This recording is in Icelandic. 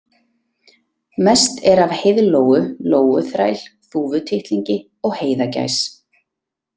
Mest er af heiðlóu, lóuþræl, þúfutittlingi og heiðagæs.